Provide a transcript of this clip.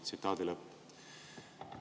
" Tsitaadi lõpp.